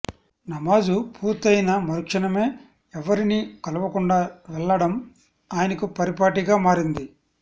నమాజు పూర్తయిన మరుక్షణమే ఎవ్వరినీ కలవకుండా వెళ్లడం ఆయనకు పరిపాటిగా మారింది